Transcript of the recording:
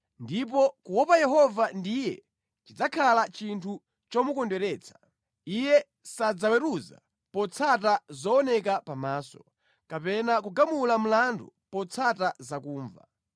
Ndipo kuopa Yehova ndiye chidzakhale chinthu chomukondweretsa. Iye sadzaweruza potsata zooneka pamaso, kapena kugamula mlandu potsata zakumva;